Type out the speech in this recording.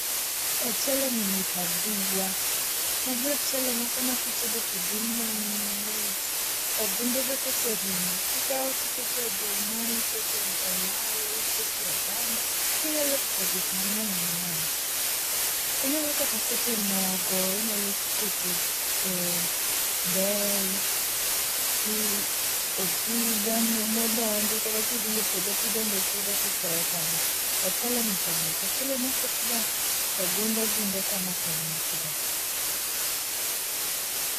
Ocheleni mit aduwa, magie e ochele moko ma kitedo to dum mamit, to gunde be koserumo ti ikawo ti iketo e olayo, ikete oganda inyalo keto gik mange'ny mange'ny, inyalo kata ketoe mogo inyalo ketoe bel, osuga modondi kata ka ithie puotho ti idondo osuga to iketo kanyo, ocheleni to mit ochele ma oket ga ginde gunde kamaeni to mit ga